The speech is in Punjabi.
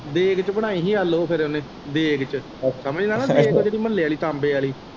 ਦੇਗ ਚ ਬਣਾਈ ਸੀ ਇਹ ਲੋਅ ਫੇਰ ਉਹਨੇ ਦੇਗ ਚ ਸਮਝਦਾ ਨਾ ਦੇਗ ਉਹ ਜਿਹੜੀ ਮਹੌਲੇ ਆਲ਼ੀ ਤਾਂਬੇ ਵਾਲ਼ੀ।